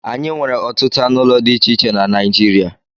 Anyị nwere ọtụtụ anụ ụlọ dị iche iche na Naịjirịa